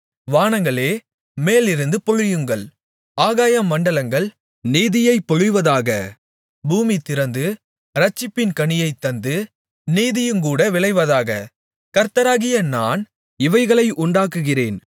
வானங்களே மேலிருந்து பொழியுங்கள் ஆகாயமண்டலங்கள் நீதியைப் பொழிவதாக பூமி திறந்து இரட்சிப்பின் கனியைத்தந்து நீதியுங்கூட விளைவதாக கர்த்தராகிய நான் இவைகளை உண்டாக்குகிறேன்